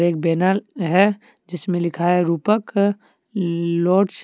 एक बैनर है। जिसमे लिखा है रूपक लॉज ।